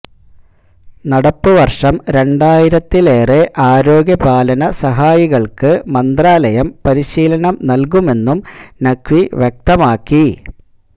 നടപ്പ് വര്ഷം രണ്ടായിരത്തിലേറെ ആരോഗ്യപാലന സഹായികള്ക്ക് മന്ത്രാലയം പരിശീലനം നല്കുമെന്നും നഖ്വി വ്യക്തമാക്കി